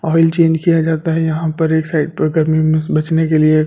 Oil change किया जाता है यहां पर एक साइड पर गर्मी में बचने के लिए।